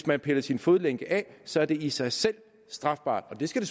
man piller sin fodlænke af så er det i sig selv strafbart og det skal